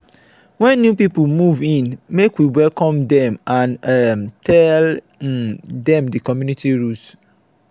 when new people move in make we welcome dem and um tell um dem community rules.